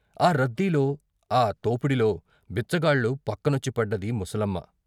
ఆ రద్దీలో, ఆ తోపిడిలో బిచ్చగాళ్ళు పక్కనొచ్చి పడ్డది ముసలమ్మ.